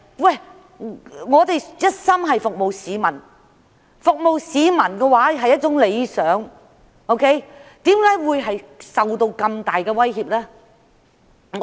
我們一心想服務市民，這是一個崇高的理想，但為何要受到那麼大的威脅？